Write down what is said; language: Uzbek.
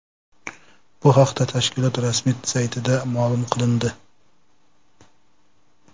Bu haqda tashkilot rasmiy saytida ma’lum qilindi.